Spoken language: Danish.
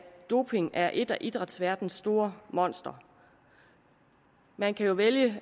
doping er et af idrætsverdenens store monstre man kan jo vælge